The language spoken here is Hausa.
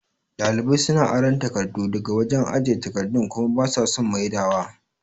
Ɗalibai suna aran takardu daga wajan ajiye takardu kuma basa son maidawa